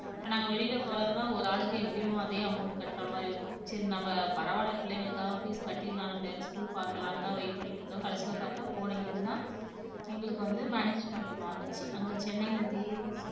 இப்ப நாங்க வெளியில போனாக்கா ஒரு ஆளுக்கு எப்படியும் அதே amount கட்ற மாதிரி இருக்கும் சரி நம்ம பரவால்ல பிள்ளைகளுக்காக fees கட்டிடலாம் நம்ம வேற school பாக்கலாம்னுதான் wait பண்ணிட்டு இருந்தோம் கடைசியில பார்த்தால் போன year தான் எங்களுக்கு வந்து management மாறுச்சு அங்க சென்னையில தேவ்